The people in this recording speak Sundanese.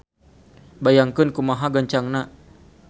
Bayangkeun kumaha gancangna.